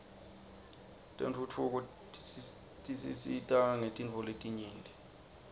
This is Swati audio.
tentfutfuko tsisita ngetntfoletingenti